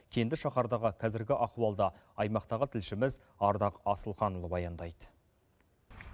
кенді шаһардағы қазіргі ахуалды аймақтағы тілшіміз ардақ асылханұлы баяндайды